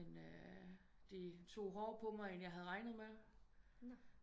Men øh det tog hårdere på mig end jeg havde regnet med